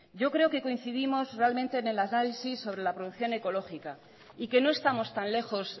yo creo que coincidimos realmente en el análisis sobre la producción ecológica y que no estamos tan lejos